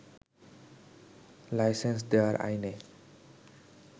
licence দেওয়ার আইনে